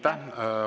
Aitäh!